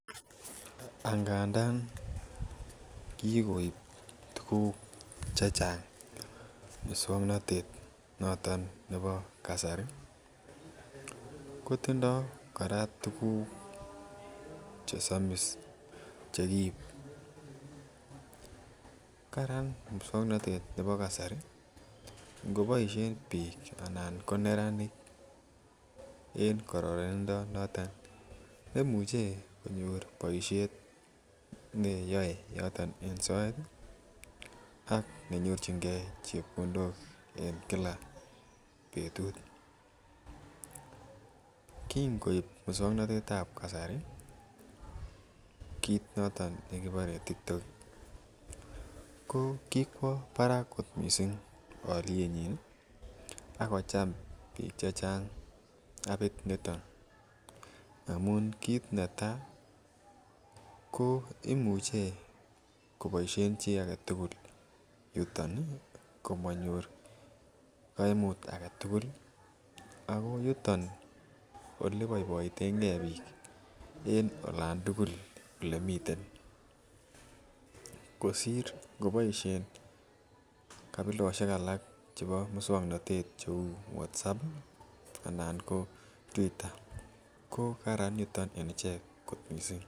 Angadan kikoib tukuk chechang muksuanatet noton nebo kasari ih , kotindo kora tuguk chesamis chekiib Karan mukswanotet nebo kasari ingeboisien bik anan ingo neranik kobaishien en kararanindo anan yemuche konyor baisiet en neyae en soet ih ak yenyorchuke chebkondok. En Kila betut kingoib musuaknotetab kasari kit noton nekikuren tiktok ko kikwa barak kot missing alietnyin ih , akocham bik chechang habit niton amuun kit ne tai ko imuche kobaishien chi agetugul yuton komanyor kaimut agetugul Ako yutonkobaibaiten ke bik en olan tugul. Kosir kabilosiek alakkouu WhatsApp anan kotuita.